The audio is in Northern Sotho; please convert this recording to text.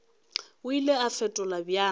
o ile a fetola bjang